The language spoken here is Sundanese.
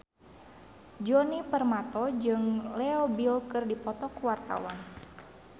Djoni Permato jeung Leo Bill keur dipoto ku wartawan